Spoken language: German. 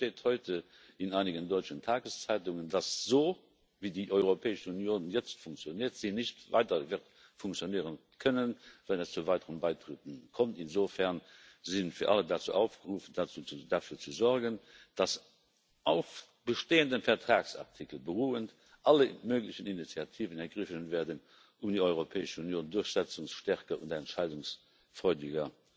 Zu Recht steht heute in einigen deutschen Tageszeitungen, dass so, wie die Europäische Union jetzt funktioniert, sie nicht weiter funktionieren können wird, wenn es zu weiteren Beitritten kommt. Insofern sind wir alle dazu aufgerufen, dafür zu sorgen, dass auf bestehenden Vertragsartikeln beruhend alle möglichen Initiativen ergriffen werden, um die Europäische Union durchsetzungsstärker und entscheidungsfreudiger